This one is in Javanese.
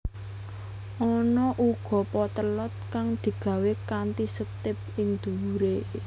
Ana uga potlot kang digawé kanthi setip ing dhuwuré